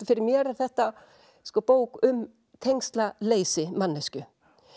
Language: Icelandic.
fyrir mér er þetta bók um tengslaleysi manneskju